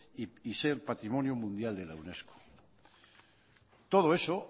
y ser patrimonio mundial de la unesco todo eso